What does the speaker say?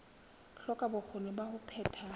hloka bokgoni ba ho phetha